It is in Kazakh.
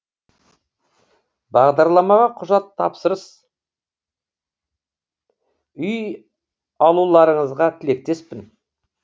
бағдарламаға құжат тапсырыс үй алуларыңызға тілектеспін